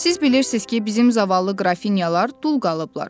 Siz bilirsiz ki, bizim zavallı qrafinyalar dul qalıblar.